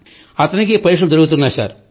అతనికి పరీక్షలు జరుగుతున్నాయి సార్